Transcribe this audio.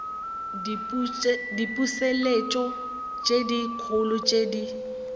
diputseletšo le dikholo tše di